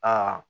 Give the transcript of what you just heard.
Aa